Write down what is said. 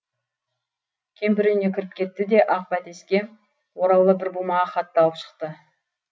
кемпір үйіне кіріп кетті де ақ бәтеске ораулы бір бума хатты алып шықты